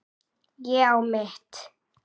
Ég á mitt.